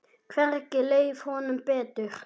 Hvergi leið honum betur.